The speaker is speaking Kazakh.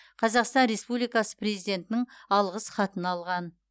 қазақстан республикасы президентінің алғыс хатын алған